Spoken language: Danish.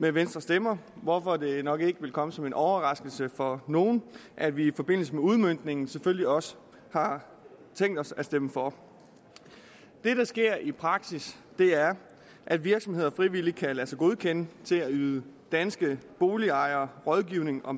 med venstres stemmer hvorfor det nok ikke vil komme som en overraskelse for nogen at vi i forbindelse med udmøntningen selvfølgelig også har tænkt os at stemme for det der sker i praksis er at virksomheder frivilligt kan lade sig godkende til at yde danske boligejere rådgivning om